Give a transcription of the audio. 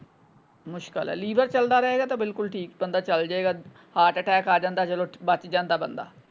ਮੁਸ਼ਕਲ ਹੈ ਲੀਵਰ ਚਲਦਾ ਰਹੇਗਾ ਤੇ ਬਿਲਕੁਲ ਠੀਕ ਬੰਦਾ ਚਲਜੇਗਾ ਹਾਰਟ ਅਟੈਕ ਆ ਜਾਂਦਾ ਚਲੋ ਬੱਚ ਜਾਂਦਾ ਬੰਦਾ।